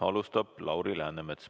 Alustab Lauri Läänemets.